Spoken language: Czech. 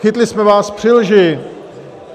Chytli jsme vás při lži.